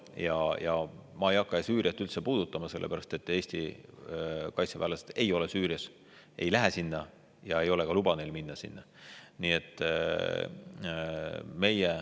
Süüriat ma ei hakka üldse puudutama, sellepärast et Eesti kaitseväelased ei ole Süürias, ei lähe sinna ja neil ei ole ka luba sinna minna.